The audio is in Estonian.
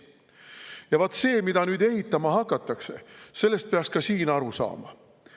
Ja vaat sellest, mida ehitama hakatakse, peaks ka siin aru saama.